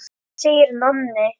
segir Nonni.